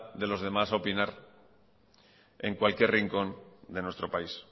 de los demás opinar en cualquier rincón de nuestro país